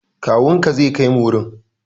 Kawunka zai kaimu wurin.